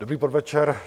Dobrý podvečer.